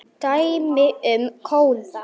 Koma þannig aftan að fólki!